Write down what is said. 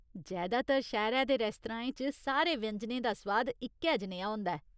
जैदातर शैह्‌रै दे रेस्तराएं च, सारे व्यंजनें दा सुआद इक्कै जनेहा होंदा ऐ।